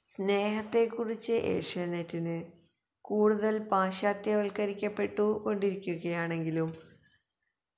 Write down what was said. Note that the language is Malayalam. സ്നേഹത്തെക്കുറിച്ച് ഏഷ്യാനെറ്റിന് കൂടുതൽ പാശ്ചാത്യവൽക്കരിക്കപ്പെട്ടുകൊണ്ടിരിക്കുകയാണെങ്കിലും